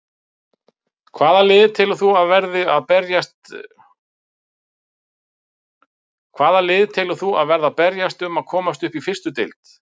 Hvaða lið telur þú að verði að berjast um að komast upp í fyrstu deild?